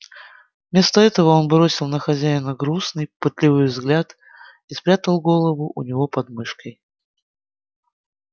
вместо этого он бросил на хозяина грустный пытливый взгляд и спрягал голову у него под мышкой